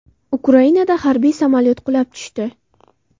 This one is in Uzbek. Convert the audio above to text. Ukrainada harbiy samolyot qulab tushdi.